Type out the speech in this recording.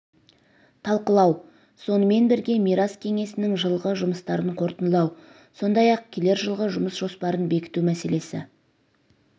талқылау сонымен бірге мирас кеңесінің жылғы жұмыстарын қорытындылау сондай-ақ келер жылғы жұмыс жоспарын бекіту мәселесі